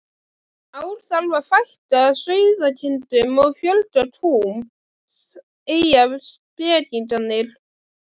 ár þarf að fækka sauðkindum og fjölga kúm, segja spekingarnir.